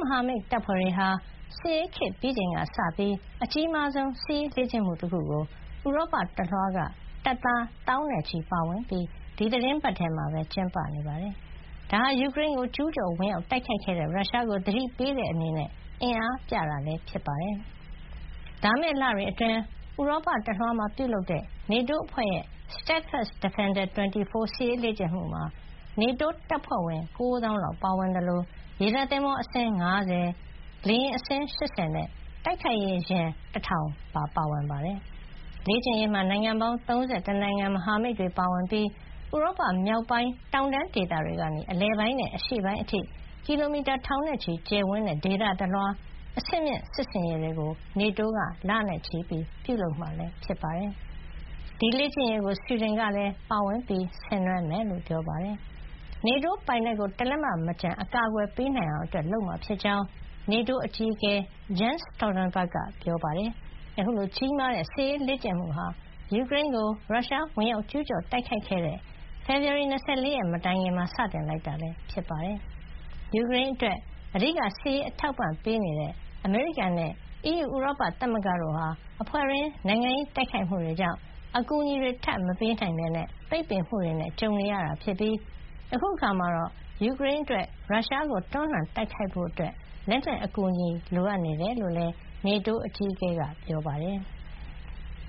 မဟာမိတ်တပ်ဖွဲ့တွေဟာ စစ်အေးခေတ်ပြီးချိန်က စပြီး အကြီးမားဆုံး စစ်ရေး လေ့ကျင့်မှု တခုကို ဥရောပ တလွှားက တပ်သား သောင်းနဲ့ချီ ပါဝင်ပြီး ဒီသီတင်းပတ်ထဲမှာ ကျင်းပနေပါတယ်။ ဒါဟာ ယူကရိန်းကို ကျူးကျော်ဝင်ရောက် တိုက်ခိုက်ခဲ့တဲ့ ရုရှားကို သတိပေး တဲ့ အနေနဲ့ အင်အားပြတာလည်း ဖြစ်ပါတယ်။ လာမယ့် လတွေ အတွင်း ဥရောပတလွှား ပြုလုပ်တဲ့ NATO အဖွဲ့ရဲ့ Steadfast Defender 24 စစ်ရေးလေ့ကျင့်မှု မှာ နေတိုး တပ်ဖွဲ့ဝင် ၉ သောင်းလောက် ပါဝင်သလို ရေတပ်သင်္ဘော အစင်း ၅၀၊ လေယာဉ် အစင်း ၈၀ နဲ့ တိုက်ခိုက်ရေး ယာဉ် ၁၀၀၀ ပါဝင်ပါတယ်။ လေ့ကျင့်ရေးမှာ နိုင်ငံပေါင်း ၃၁ နိုင်ငံ မဟာမိတ်တွေ ပါဝင်ပြီး ဥရောပ မြောက်ပိုင်း တောင်တန်းဒေသ တွေကနေ အလယ်ပိုင်းနဲ့ အရှေ့ပိုင်း အထိ ကီလိုမီတာ ထောင်နဲ့ ချီကျယ်ဝန်းတဲ့ ဒေသတလွှား အဆင့်မြင့် စစ်ဆင်ရေးတွေကို NATO က လနဲ့ချီပြုလုပ်မှာ ဖြစ်ပါတယ်။ ဒီလေ့ကျင့်ရေးကို ဆွီဒင်ကလည်း ပါဝင် ဆင်နွှဲမှာ ဖြစ်ပါတယ်။ NATO ပိုင်နက် ကို တလက်မ မကျန် အကာကွယ်ပေးနိုင်အောင် လုပ်မှာ ဖြစ်ကြောင်း နေတိုး အကြီးအကဲ Jens Stoltenberg က ပြောပါတယ်။ အခုလို ကြီးမားတဲ့ စစ်ရေး လေ့ကျင့်မှုဟာ ယူကရိန်းကို ရုရှား ဝင်ရောက်ကျူးကျော် တိုက်ခိုက်ခဲ့တဲ့ ဖေဖေါ်ဝါရီလ ၂၄ ရက် မတိုင်ခင်မှာ စတင်လိုက်တာ ဖြစ်ပါတယ်။ ယူကရိန်းအတွက် အဓိက စစ်ရေး အထောက်ပံ့ပေး နေတဲ့ အမေရိကန်နဲ့ အီးယူ ဥရောပသမဂ္ဂ တို့ဟာ အဖွဲ့တွင်း နိုင်ငံရေးတိုက်ခိုက်မှုတွေ ကြောင့် အကူအညီထပ်မပေးနိုင်ပဲ ပိတ်ပင်မှုတွေနဲ့ ကြုံနေရတာ ဖြစ်ပြီး အခုအခါမှာ ယူကရိန်းအတွက် ရုရှားကို တွန်းလှန် တိုက်ခိုက်ဖို့ လက်နက်အကူညီ လိုနေတယ်လို့လည်း NATO အကြီးအကဲက ပြောပါတယ်။